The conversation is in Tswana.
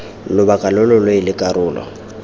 lobaka lo lo leele karolo